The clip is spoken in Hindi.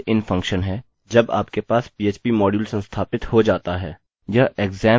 यह xampp में भी आता है